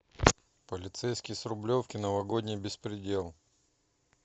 полицейский с рублевки новогодний беспредел